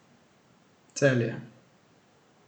Celje.